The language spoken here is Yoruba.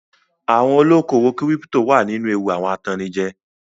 Àwọn olókòwò kírípító wà nínú ewu awọn atannijẹ.